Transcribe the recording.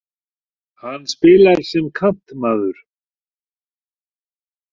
Hann spilar sem kantmaður.